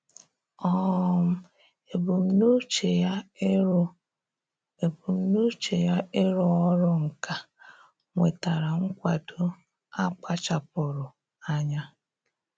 um Ebumnuche ya ịrụ Ebumnuche ya ịrụ ọrụ nka nwetara nkwado a kpachapụụrụ anya.